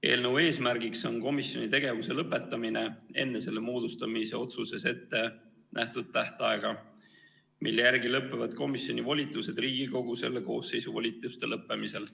Eelnõu eesmärk on komisjoni tegevuse lõpetamine enne selle moodustamise otsuses ettenähtud tähtaega, mille järgi lõpevad komisjoni volitused Riigikogu selle koosseisu volituste lõppemisel.